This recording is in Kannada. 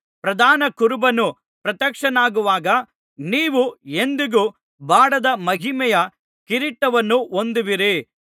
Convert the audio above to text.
ಪ್ರಧಾನ ಕುರುಬನು ಪ್ರತ್ಯಕ್ಷನಾಗುವಾಗ ನೀವು ಎಂದಿಗೂ ಬಾಡದ ಮಹಿಮೆಯ ಕಿರೀಟವನ್ನು ಹೊಂದುವಿರಿ